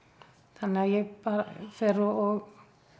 þannig að ég bara fer og